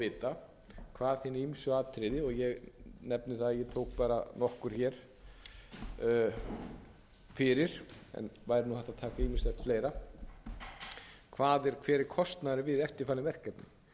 vita hvað hin ýmsu atriði og ég nefni það bara að ég tók nokkur fyrir en væri hægt að taka ýmislegt fleira hver er kostnaðurinn við eftirtalin verkefni